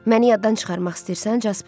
Məni yaddan çıxarmaq istəyirsən, Jasper?